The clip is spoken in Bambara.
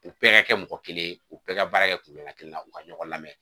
U bɛɛ ka kɛ mɔgɔ kelen ye u bɛɛ ka baara kɛ kun bɛ ka kelenna u ka ɲɔgɔn lamɛn